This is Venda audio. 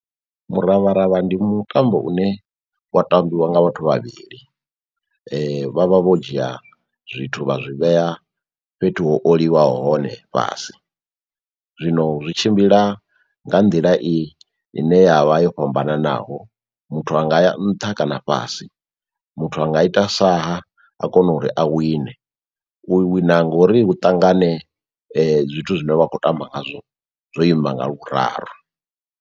Muravharavha ndi mutambo une wa tambiwa nga vhathu vhavhili, vha vha vho dzhia zwithu vha zwi vhea fhethu ho oliwa hone fhasi, zwino zwi tshimbila nga nḓila i ine yavha yo fhambananaho muthu anga ya nṱha kana fhasi muthu anga ita sa ha a kona uri a wine, u wina ngori hu ṱangane zwithu zwine wa khou tamba ngazwo zwo ima nga lu .